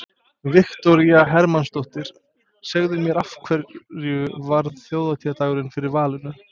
Viktoría Hermannsdóttir: Segðu mér af hverju varð þjóðhátíðardagurinn fyrir valinu?